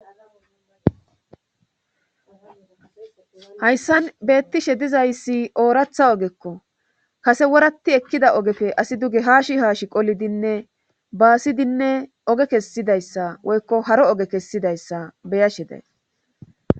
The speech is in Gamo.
hayssan beettishe dizayssi ooratha ogekko kase woratti ekkida ogefe asi duge haashi haashi qolidinne baasidinne oge kessidayssa woykko haro oge kessidayssa beyasheday